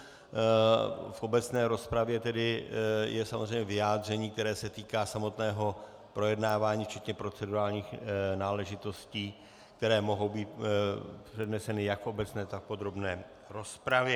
V obecné rozpravě tedy je samozřejmě vyjádření, které se týká samotného projednávání včetně procedurálních náležitostí, které mohou být předneseny jak v obecné, tak v podrobné rozpravě.